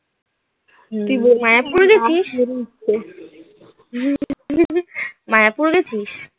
তুই বল মায়াপুর গেছিস? মায়াপুর গেছিস?